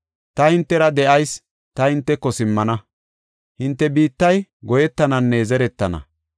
Ta hintera de7ayis; ta hinteko simmana; hinte biittay goyetananne zeretana.